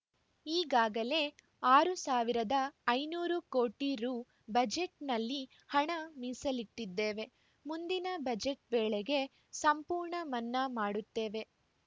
ಈಗಾಗಲೇ ಆರ್ ಸಾವಿರದ ಐನೂರು ಕೋಟಿ ರು ಬಜೆಟ್‌ನಲ್ಲಿ ಹಣ ಮೀಸಲಿಟ್ಟಿದ್ದೇವೆ ಮುಂದಿನ ಬಜೆಟ್‌ ವೇಳೆಗೆ ಸಂಪೂರ್ಣ ಮನ್ನಾ ಮಾಡುತ್ತೇವೆ